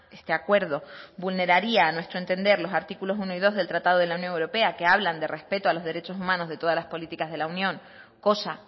este acuerdo vulneraría a nuestro entender los artículos uno y del tratado de la unión europea que hablan de respeto a los derechos humanos de todas las políticas de la unión cosa